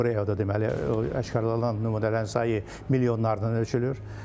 Labreada deməli aşkarlanan nümunələrin sayı milyonlarla ölçülür.